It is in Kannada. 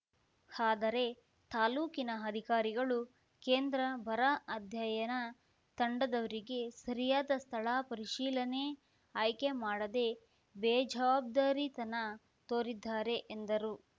ಆದರೆ ತಾಲೂಕಿನ ಅಧಿಕಾರಿಗಳು ಕೇಂದ್ರ ಬರ ಅಧ್ಯಯನ ತಂಡದವರಿಗೆ ಸರಿಯಾದ ಸ್ಥಳ ಪರಿಶೀಲನೆ ಆಯ್ಕೆ ಮಾಡದೇ ಬೇಜವಾಬ್ದಾರಿತನ ತೋರಿದ್ದಾರೆ ಎಂದರು